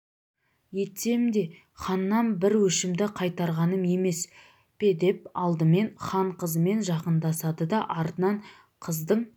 етсем да ханнан бір өшімді қайтарғаным емес педеп алдымен хан қызымен жақындасады да артынан қыздың